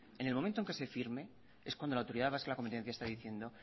en el momento que se firme es cuando la autoridad vasca de la competencia está diciendo